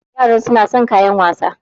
Yara suna son kayan wasa